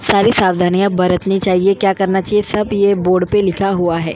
सारी सावधानिया बरतनी चाहीये क्या करना चाहीये ये बोर्ड पे लिखा हुआ है।